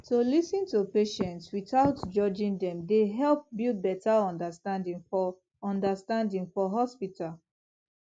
to lis ten to patients without judging dem dey help build better understanding for understanding for hospital